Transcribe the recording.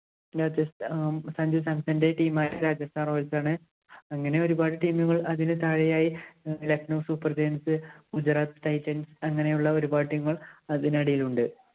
സഞ്ജു സംസണിന്‍റെ team ആയ Rajasthan Royals ആണ്. അങ്ങനെ ഒരുപാട് team ഉകള്‍ അതിനു താഴെയായി Lucknow Super Giants, Gujarat Titans അങ്ങനെയുള്ള ഒരുപാടു team കള്‍ അതിനടിയിലുണ്ട്.